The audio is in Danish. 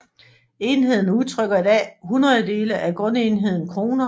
Enheden udtrykker i dag hundrededele af grundenheden kroner